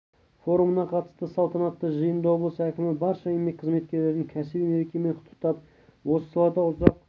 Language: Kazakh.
форумына қатысты салтанатты жиында облыс әкімі барша еңбек қызметкерлерін кәсіби мерекемен құттықтап осы салада ұзақ